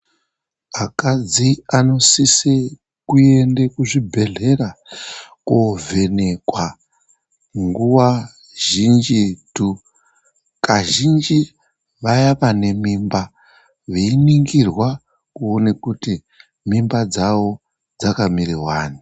Akadzi anosisi kuende kuzvibhehlera kovhenekwa nguwa zhinjitu . Kazhinji vaya vane mimba veiningirwa kuone kuti mimba dzawo dzakamire wani.